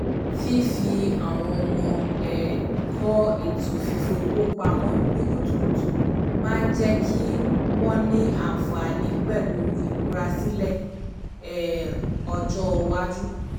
fífi àwọn ọmọ um kọ́ ètò fífowó pamọ́ ní kutukutu máa ń jẹ́ kí wọ́n ní àǹfààní pẹ̀lú ìmúrasílẹ̀ um ọjọ́ iwájú